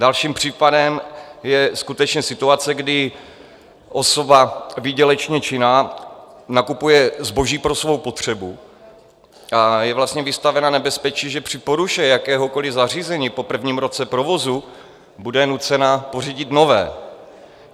Dalším případem je skutečně situace, kdy osoba výdělečně činná nakupuje zboží pro svou potřebu a je vlastně vystavena nebezpečí, že při poruše jakéhokoliv zařízení po prvním roce provozu bude nucena pořídit nové.